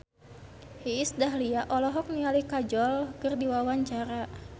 Iis Dahlia olohok ningali Kajol keur diwawancara